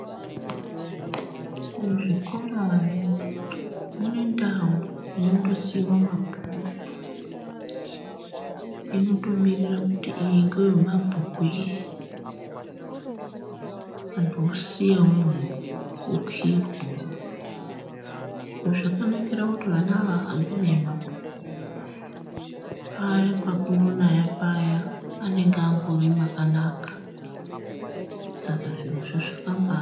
Kuzvikorayo kune ndau inonddosiyiwa mabhuku. Inotomirira kuti iyi ngeyemabhuku iyi, anthu osiya okiyirwa umwomwo. Zviro izvi zvakanakira kuti ana ahambi nemabhuku paya pakunonaya paya anonga andori pakanaka, saka zvirozvo zvakambanaka.